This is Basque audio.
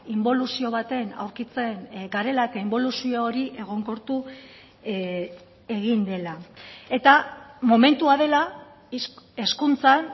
inboluzio baten aurkitzen garela eta inboluzio hori egonkortu egin dela eta momentua dela hezkuntzan